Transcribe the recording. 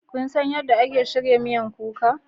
Kun san yadda ake shirya miyan kuka?